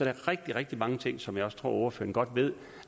er rigtig rigtig mange ting som jeg også tror at ordføreren godt ved